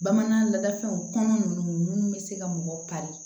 Bamanan ladafɛnw kɔnɔ ninnu bɛ se ka mɔgɔ kari